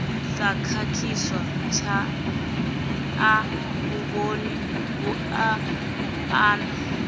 sa khakhiswa tshanḓanguvhoni vhuaḓa na